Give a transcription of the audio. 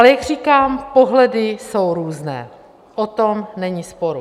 Ale jak říkám, pohledy jsou různé, o tom není sporu.